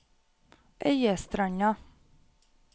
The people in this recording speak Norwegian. Øyestranda